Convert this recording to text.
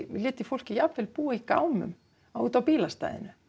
fólk jafnvel búa í gámum út á bílastæðinu